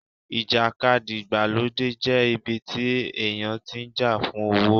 ìjàkadì ìgbàlódé jẹ́ ibi tí èèyàn tí ń jà fún owó